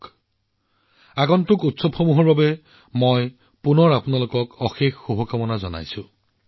পুনৰবাৰ আগন্তুক উৎসৱসমূহৰ বাবে শুভেচ্ছা জ্ঞাপন কৰিলোঁ